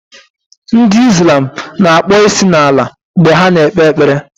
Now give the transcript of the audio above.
Ndi islam na-akpọ isi n'ala mgbe ha na-ekpe ekpere